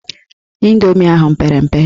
Indomi ahụ pere mpe.